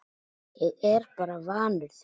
Ég er bara vanur því